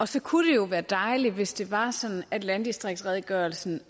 så kunne det jo være dejligt hvis det var sådan at landdistriktsredegørelsen